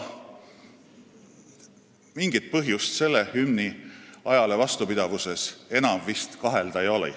Mingit põhjust selle hümni ajale vastupidavuses enam vist kahelda ei ole.